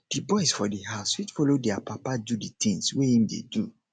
di boys for di house fit follow their papa do di things wey im dey do